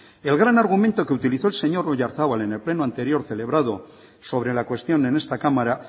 el gran argumento que utilizó el señor oyarzabal en el pleno anterior celebrado sobre la cuestión en esta cámara